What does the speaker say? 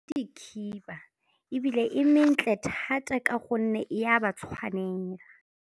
Ke dikhiba ebile e mentle thata ka gonne e a ba tshwanela.